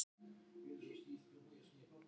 Oft á tíðum.